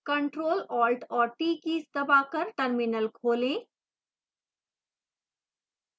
ctrl alt और t keys दबाकर terminal खोलें